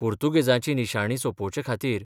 पुर्तुगेजांची निशाणी सोंपोवचे खातीर.